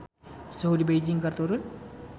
Suhu di Beijing keur turun